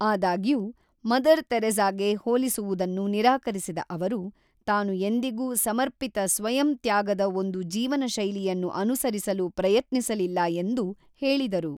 ಆದಾಗ್ಯೂ, ಮದರ್ ತೆರೇಸಾಗೆ ಹೋಲಿಸುವುದನ್ನು ನಿರಾಕರಿಸಿದ ಅವರು, ತಾನು ಎಂದಿಗೂ ಸಮರ್ಪಿತ ಸ್ವಯಂ ತ್ಯಾಗದ ಒಂದು ಜೀವನಶೈಲಿಯನ್ನು ಅನುಸರಿಸಲು ಪ್ರಯತ್ನಿಸಲಿಲ್ಲ ಎಂದು ಹೇಳಿದರು.